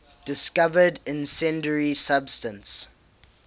discovered incendiary substance